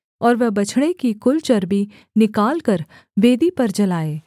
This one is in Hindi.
और वह बछड़े की कुल चर्बी निकालकर वेदी पर जलाए